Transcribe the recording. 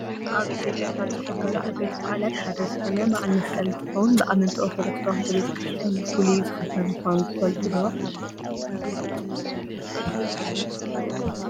ኣብ ኢትዮጵያ ካብ ዝክበሩ ዓበይቲ ባዓላት ሓደ ዝኮነ ባዓል መስቀል እንትከውን፣ ብኣመንቲ ኦርቶዶክስ ተዋህዶ ክርስትያን ብፉሉይ ዝክበር ምኳኑ ትፈልጡ ዶ?